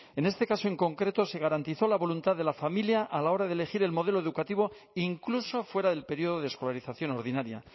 en este caso en concreto se garantizó la voluntad de la familia a la hora de elegir el modelo educativo incluso fuera del periodo de escolarización ordinaria